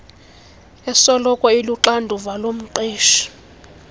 esoloko iluxanduva lomqeshi